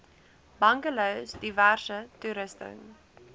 bungalows diverse toerusting